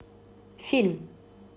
фильм